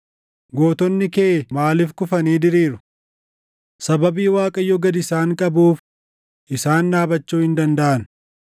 Gootonni kee maaliif kufanii diriiru? Sababii Waaqayyo gad isaan qabuuf isaan dhaabachuu hin dandaʼan.